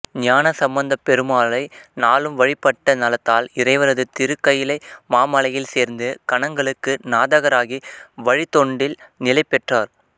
ஞானசம்பந்தப் பெருமாளை நாளும் வழிபட்ட நலத்தால் இறைவரது திருக்கயிலை மாமலையில் சேர்ந்து கணங்களுக்கு நாதராகி வழித்தொண்டில் நிலைபெற்றார்